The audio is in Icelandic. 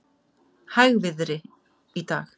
Hægviðri í dag